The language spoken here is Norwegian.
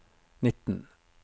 nitten